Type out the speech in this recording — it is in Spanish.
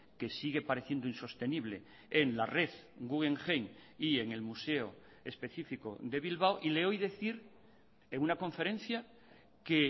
que sigue pareciendo insostenible en la red guggenheim y en el museo específico de bilbao y le oí decir en una conferencia que